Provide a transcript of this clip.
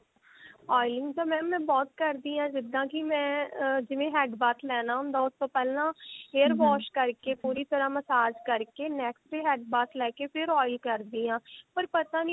oiling ਤਾਂ mam ਮੈਂ ਬਹੁਤ ਕਰਦੀ ਹਾਂ ਜਿੱਦਾ ਕਿ ਮੈਂ ਅਹ ਜਿਵੇਂ head bath ਲੈਣਾ ਹੁੰਦਾ ਉਸ ਤੋਂ ਪਹਿਲਾਂ hair wash ਕਰਕੇ ਪੂਰੀ ਤਰ੍ਹਾਂ massage ਕਰਕੇ neck ਤੇ head bath ਲੈਕੇ ਫਿਰ oil ਕਰਦੀ ਹਾਂ ਪਰ ਪਤਾ ਨਹੀਂ